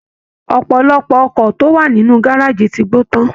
Ọpọlọpọ ọkọ̀ tó wà nínú gárájí ti gbo tan.